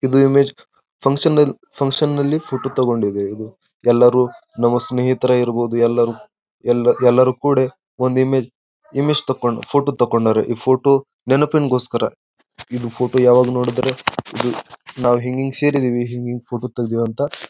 ಇದು image function ಲಿ function ಲಿ ಫೋಟೋ ತಗೊಂಡಿದೆ ಇದು ಎಲ್ಲರು ನಮ್ಮ ಸ್ನೇಷಿತರೇ ಇರಬಹುದುದ್ ಎಲ್ಲರು ಎಲ್ಲ ಎಲ್ಲರು ಕುಡೆ ಒಂದು ಇಮೇಜ್ ಇಮೇಜ್ ತಕೊಂಡು ಪಿಜೋಟೋ ತಕೊಂಡಾರೆ ಈ ಫೋಟೋ ನೆನಪಿನಗೋಸ್ಕರ ಇದು ಫೋಟೋ ಯಾವಾಗ ನೋಡಿದ್ರೆ ನಾವು ಹಿಂಗಿಂಗೇ ಸೇರಿದ್ದೀವಿ ಹಿಂಗಿಂಗೇ ಫೋಟೋ ತೆಗೆದಿದ್ದೀವಿ ಅಂತ.